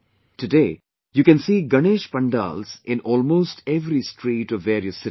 Today, you can see Ganesh pandals in almost every street of various cities